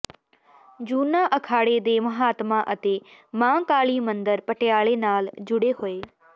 ਜੂਨਾ ਅਖਾੜੇ ਦੇ ਮਹਾਤਮਾ ਅਤੇ ਮਹਾਂਕਾਲੀ ਮੰਦਰ ਪਟਿਆਲੇ ਨਾਲ ਜੁੜੇ ਹੋਏ